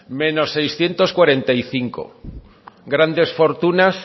menos seiscientos cuarenta y cinco grandes fortunas